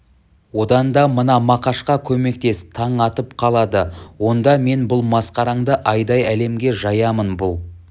одан да мына мақашқа көмектес таң атып қалады онда мен бұл масқараңды айдай әлемге жаямын бұл